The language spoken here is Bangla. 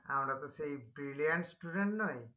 আমরা তো সেই brilliant student নই